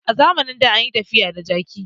A zamanin da an yi tafiya da jaki